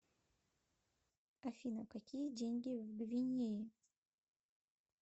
афина какие деньги в гвинее